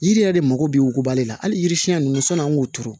Yiri yɛrɛ de mago bɛ wokuba de la hali yiri siɲɛ ninnu sann'an k'o turu